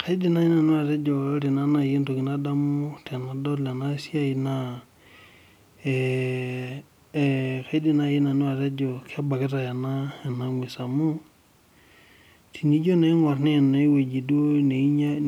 Kaidim naa naji nanu atejo ore entoki nadamu tenadol ena siai naa kaidim naaji nanu atejo kebakitae ena gwesi amu, tinijo naa aingorb naa eneweji